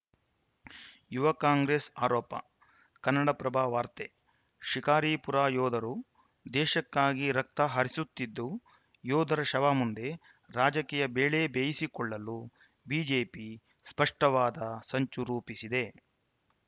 ಯುವ ಕಾಂಗ್ರೆಸ್‌ ಆರೋಪ ಕನ್ನಡಪ್ರಭ ವಾರ್ತೆ ಶಿಕಾರಿಪುರ ಯೋಧರು ದೇಶಕ್ಕಾಗಿ ರಕ್ತ ಹರಿಸುತ್ತಿದ್ದು ಯೋಧರ ಶವ ಮುಂದೆ ರಾಜಕೀಯ ಬೇಳೆ ಬೇಯಿಸಿಕೊಳ್ಳಲು ಬಿಜೆಪಿ ಸ್ಪಷ್ಟವಾದ ಸಂಚು ರೂಪಿಸಿದೆ